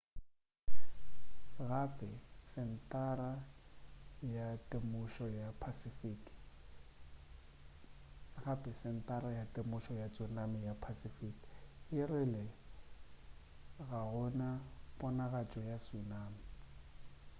gape sentara ya temošo ya tsunami ya pacific e rile ga go na ponagatšo ya tsunami